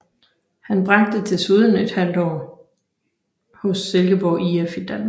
Han tilbragte desuden et halvt år hos Silkeborg IF i Danmark